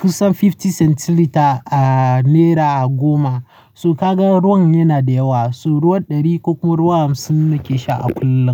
kusan fifty centilitre a naira goma. So kaga ruwan yana da yawa, so ruwan ɗari ko kuma ruwan hamsin nake sha a kullum.